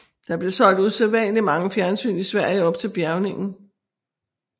Der blev solgt usædvanlig mange fjernsyn i Sverige op til bjærgningen